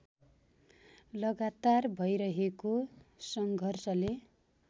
लगातार भैरहेको सङ्घर्षले